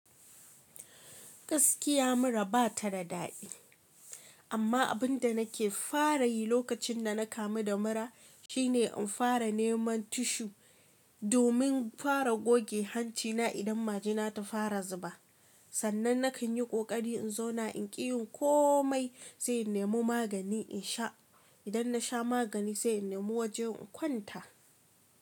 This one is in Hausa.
Gaskiya mura ba ta da daɗi. Amma abin da na ke fara yi lokacin da na kamu da mura shine in fara neman tissue domin fara goge hancina idan majina ta fara zuba. Sannan na kan yi ƙoƙari in zauna in ƙi yin komai sai in nemo magani in sha. Idan na sha magani sai in nemo waje in kwanta.